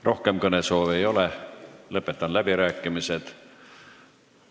Rohkem kõnesoove ei ole, lõpetan läbirääkimised.